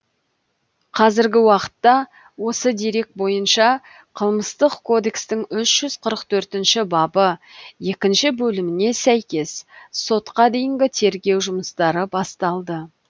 қазіргі уақытта осы дерек бойынша қылмыстық кодекстің үш жүз қырық төртінші бабы екінші бөліміне сәйкес сотқа дейінгі тергеу жұмыстары басталды